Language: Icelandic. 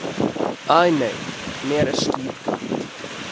Æ, nei, mér er skítkalt